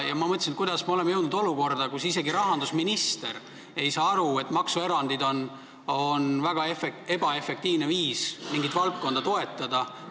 Ma mõtlesin, et kuidas me oleme jõudnud olukorda, kus isegi rahandusminister ei saa aru, et maksuerandid on väga ebaefektiivne ja väga kallis viis mingit valdkonda toetada.